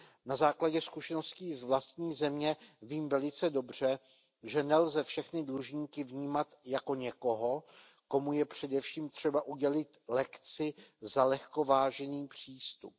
Na základě zkušeností z vlastní země vím velice dobře, že nelze všechny dlužníky vnímat jako někoho, komu je především třeba udělit lekci za lehkovážný přístup.